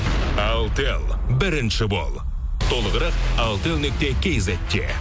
алтел бірінші бол толығырақ алтел нүкте кизетте